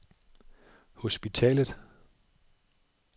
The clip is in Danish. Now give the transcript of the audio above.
hospitalet